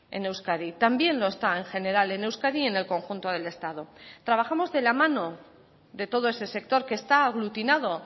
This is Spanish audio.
en euskadi también lo está en general en euskadi y en el conjunto del estado trabajamos de la mano de todo ese sector que está aglutinado